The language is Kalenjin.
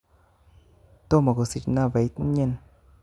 Tomo kosich nabait nyin